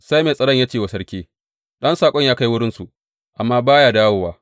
Sai mai tsaron ya ce wa sarki, Ɗan saƙon ya kai wurinsu, amma ba ya dawowa.